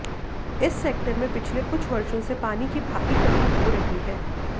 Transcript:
इस सेक्टर में पिछले कुछ वर्षों से पानी की भारी कमी हो रही है